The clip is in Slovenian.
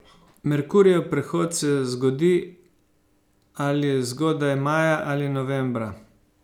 Merkurjev prehod se zgodi ali zgodaj maja ali novembra.